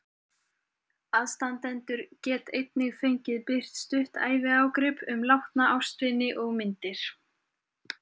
Aðstandendur get einnig fengið birt stutt æviágrip um látna ástvini og myndir.